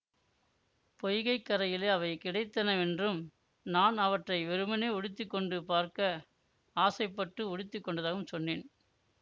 பொய்கை கரையிலே அவை கிடைத்தனவென்றும் நான் அவற்றை வெறுமனே உடுத்தி கொண்டு பார்க்க ஆசைப்பட்டு உடுத்தி கொண்டதாகவும் சொன்னேன்